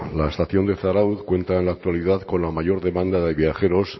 la estación de zarautz cuenta en la actualidad con la mayor demanda de viajeros